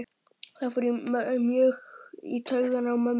Það fór mjög í taugarnar á mömmu.